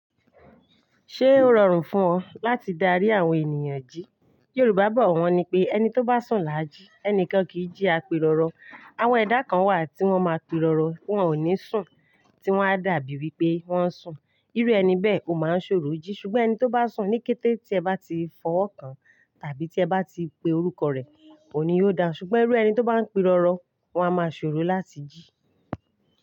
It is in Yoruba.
Ṣé o rọrùn fún ọ láti darí àwọn ènìyàn jí? Yorùbá bọ̀ wọ́n ní pé "Ẹni tó bá sùn làa jí, ẹnìkan kì í jí apèrọrọ". Àwọn ẹ̀dá kan wà tí wọ́n ma pe rọrọ, wọ́n ò ní sùn, tí wọ́n a dàbí wí pé wọ́n ń sùn. Irú ẹni bẹ́ẹ̀ ò máa ń ṣòro jí ṣùgbọ́n ẹni tó bá sùn ní kété tí ẹ bá ti fọwọ́ kan tàbí tí ẹ bá ti pe orúkọ rẹ̀, òní yóò dá ṣùgbọ́n irú ẹni tó bá ń pe rọrọ, wọ́n a máa ṣòro láti jí.